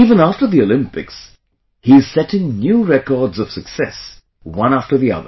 Even after the Olympics, he is setting new records of success, one after the other